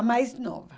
A mais nova.